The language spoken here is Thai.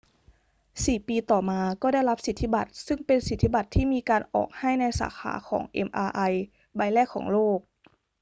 สี่ปีต่อมาก็ได้รับสิทธิบัตร ซึ่งเป็นสิทธิบัตรที่มีการออกให้ในสาขาของ mri ใบแรกของโลก